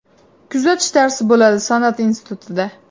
Kuzatish darsi bo‘ladi san’at institutida.